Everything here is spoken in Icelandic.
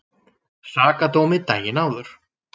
Sakadómi daginn áður.